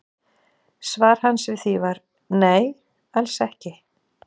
Svar hans við því var: Nei, alls ekki